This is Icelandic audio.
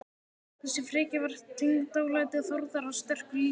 Þessi frekja var tengd dálæti Þórðar á sterku lífi.